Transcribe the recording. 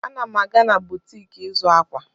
Ana m aga na butik ịzụ akwa.